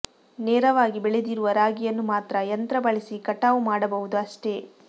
ನೆರವಾಗಿ ಬೆಳೆದಿರುವ ರಾಗಿಯನ್ನು ಮಾತ್ರ ಯಂತ್ರ ಬಳಸಿ ಕಟಾವು ಮಾಡಬಹುದು ಅಷ್ಟೆ